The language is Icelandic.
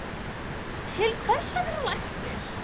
Til hvers að vera læknir?